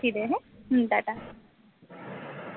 রাখছি রে হুঁ টা টা